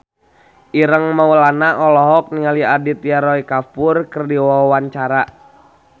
Ireng Maulana olohok ningali Aditya Roy Kapoor keur diwawancara